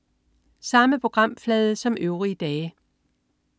Samme programflade som øvrige dage